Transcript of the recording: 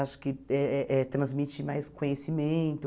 Acho que eh eh eh transmite mais conhecimento.